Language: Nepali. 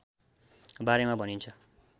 बारेमा भनिन्छ